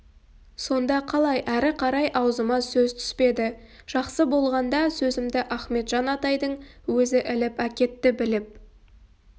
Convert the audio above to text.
сонда қалай әрі қарай аузыма сөз түспеді жақсы болғанда сөзімді ахметжан атайдын өзі іліп әкетті біліп